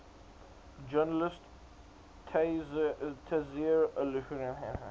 journalist tayseer allouni